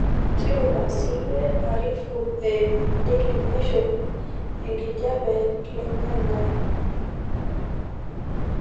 tipika siiyie arifu eeyimu daily nation ee enkijape ilang'ang'e